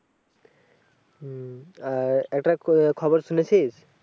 হম আহ একটা খবর শুনেছিস?